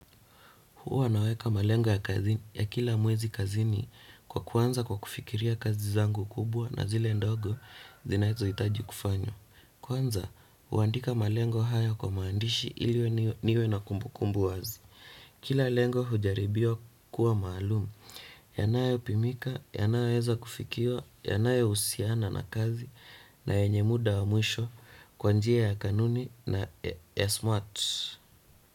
Huwa naweka malengo ya kazi ya kila mwezi kazini kwa kuanza kwa kufikiria kazi zangu kubwa na zile ndogo zinazo itaji kufanywa. Kwanza, huandika malengo haya kwa maandishi ili niwe na kumbu kumbu wazi. Kila lengo hujaribiwa kuwa maalumu. Yanayo pimika, yanayo weza kufikio, yanayo husiana na kazi na yenye muda wa mwisho kwa njia ya kanuni na smart.